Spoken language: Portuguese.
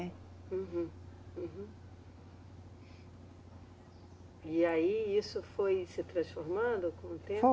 Uhum, uhum. E aí isso foi se transformando com o tempo?